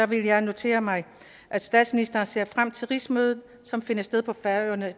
vil jeg notere mig at statsministeren ser frem til rigsmødet som finder sted på færøerne